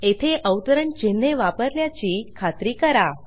येथे अवतरण चिन्हे वापरल्याची खात्री करा